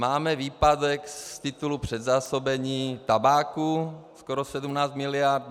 Máme výpadek z titulu předzásobení tabáku skoro 17 miliard.